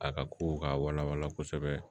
A ka kow ka wala wala kosɛbɛ